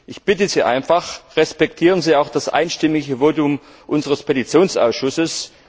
Ich bitte Sie einfach Respektieren Sie auch das einstimmige Votum unseres Petitionsausschusses.